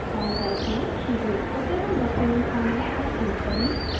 file type में pdfportable document format पर click करें